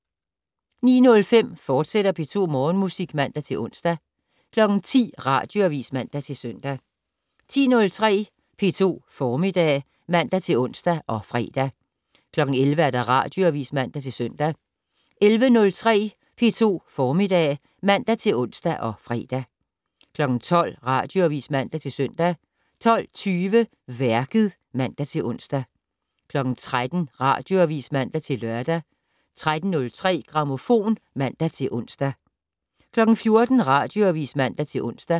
09:05: P2 Morgenmusik, fortsat (man-ons) 10:00: Radioavis (man-søn) 10:03: P2 Formiddag (man-ons og fre) 11:00: Radioavis (man-søn) 11:03: P2 Formiddag (man-ons og fre) 12:00: Radioavis (man-søn) 12:20: Værket (man-ons) 13:00: Radioavis (man-lør) 13:03: Grammofon (man-ons) 14:00: Radioavis (man-ons)